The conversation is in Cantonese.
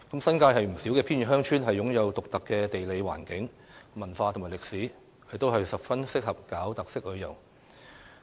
新界不少偏遠鄉村均擁有獨特的地理環境、文化及歷史，十分適合發展特色旅遊。